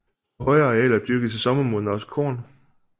På højere arealer dyrkedes i sommermåneder også korn